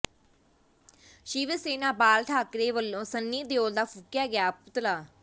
ਸ਼ਿਵ ਸੈਨਾ ਬਾਲ ਠਾਕਰੇ ਵਲੋਂ ਸੰਨੀ ਦਿਓਲ ਦਾ ਫੂਕਿਆ ਗਿਆ ਪੁਤਲਾ